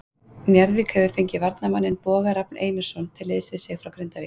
Njarðvík hefur fengið varnarmanninn Boga Rafn Einarsson til liðs við sig frá Grindavík.